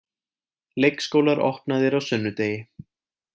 Leikskólar opnaðir á sunnudegi